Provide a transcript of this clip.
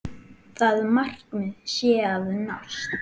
Það markmið sé að nást.